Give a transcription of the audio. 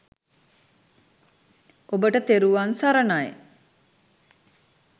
ඔබට තෙරුවන් සරණයි